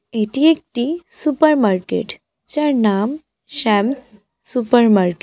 এটি একটি super market যার নাম শ্যাম'স সুপার মার্কেট ।